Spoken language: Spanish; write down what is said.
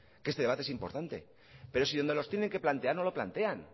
que este debate es importante pero si donde los tienen que plantear no lo plantean